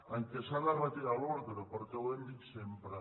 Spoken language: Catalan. en què s’ha de retirar l’ordre perquè ho hem dit sempre